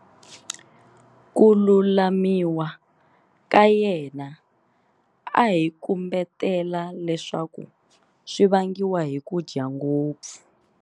Ku lumalumiwa ka yena a hi kumbetela leswaku swi vangiwa hi ku dya ngopfu.